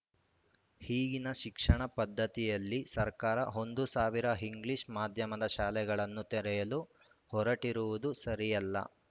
ಈಗಿನ ಶಿಕ್ಷಣ ಪದ್ದತಿಯಲ್ಲಿ ಸರ್ಕಾರ ಒಂದು ಸಾವಿರ ಇಂಗ್ಲಿಷ್‌ ಮಾಧ್ಯಮದ ಶಾಲೆಗಳನ್ನು ತೆರೆಯಲು ಹೊರಟಿರುವುದು ಸರಿಯಲ್ಲ